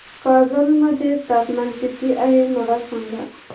कागल मध्ये तापमान किती आहे मला सांगा